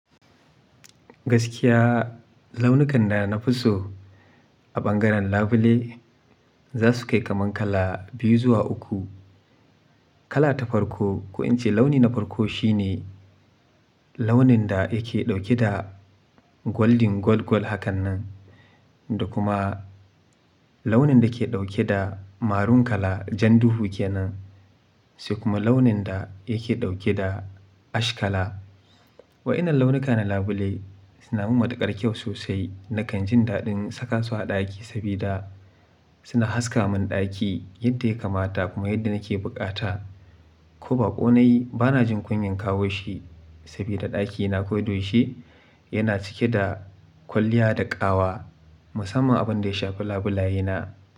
Gaskiya launukan da na fi so a ɓangaren labule za su kai kaman kala biyu zuwa uku. Kala ta farko, ko in ce launi na farko shi ne launin da yake ɗauke da golden gold gold hakan nan da kuma launin da ke ɗauke da maroon kala jan duhu ke nan, sai kuma launin da yake ɗauke da ash kala. Wa'inan launuka na labule suna mun matuƙar kyau sosai. Nakan jin daɗin saka su a ɗaki saboda suna haska mun ɗaki yadda ya kamata kuma yadda nake bukata. Ko baƙo nayi bana jin kunyan kawo shi saboda ɗakina koda yaushe yana cike da kwalliya da ƙawa musamman abin da ya shafi labulayena.